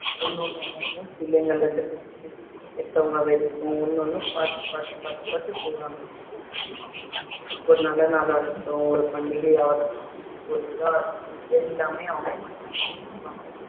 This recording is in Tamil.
ஒண்ணு ஒண்ணு ஒண்ணு ஒண்ணும் பிள்ளைங்கல்ல இருந்து பெ~ பெத்தவங்க வரைக்கும் ஒண்ணு ஒண்ணும் பாத்து பாத்து பாத்து பாத்து செய்வாங்க. ஒரு நல்ல நாளா இருக்கட்டும் ஒரு பண்டிகையா இருக்கட்டும் ஒரு இதா இருக்கட்டும் எல்லாமே அவங்க மட்டும் தாங்க செய்வாங்க.